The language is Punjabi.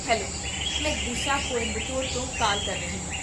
ਹੈਲੋ! ਮੈਂ ਦਿਸ਼ਾ ਕੋਇੰਬਟੂਰ ਤੋਂ ਕਾਲ ਕਰ ਰਹੀ ਹਾਂ